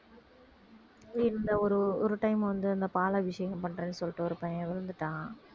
இந்த ஒரு ஒரு time வந்து அந்த பாலாபிஷேகம் பண்றேன்னு சொல்லிட்டு ஒரு பையன் விழுந்துட்டான்